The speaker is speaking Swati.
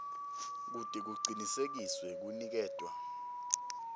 kute kucinisekiswe kuniketwa